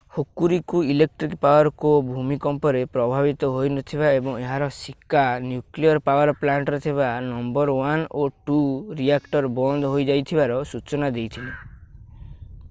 Hokuriku electric power co ଭୂମିକମ୍ପରେ ପ୍ରଭାବିତ ହୋଇନଥିବା ଏବଂ ଏହାର ଶିକା ନ୍ୟୁକ୍ଲିଅର୍ ପାୱର୍ ପ୍ଲାଣ୍ଟରେ ଥିବା ନମ୍ବର 1 ଓ 2 ରିଆକ୍ଟର୍ ବନ୍ଦ ହୋଇଯାଇଥିବାର ସୂଚନା ଦେଇଥିଲା